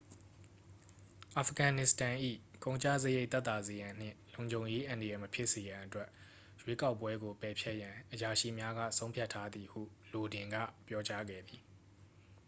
အာဖဂန်နစ္စတန်၏ ကုန်ကျစရိတ် သက်သာစေရန်နှင့်လုံခြုံရေး အန္တရာယ် မဖြစ်စေရန်အတွက် ရွေးကောက်ပွဲကို ပယ်ဖျက်ရန် အရာရှိများက ဆုံးဖြတ်ထားသည်ဟု လိုဒင်က ပြောကြားခဲ့သည်